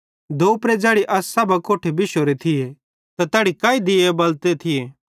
दोपरे ज़ैड़ी असां सब अकोट्ठे बिश्शोरे थिये त तैड़ी काई दीये बलते थिये